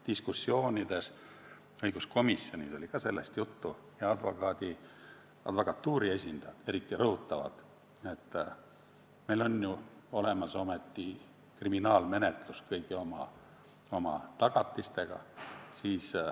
Diskussioonides õiguskomisjonis oli juttu ka sellest – advokatuuri esindajad seda eriti rõhutavad –, et meil on ju olemas kriminaalmenetlus kõigi oma tagatistega.